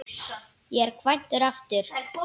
Ég er kvæntur aftur.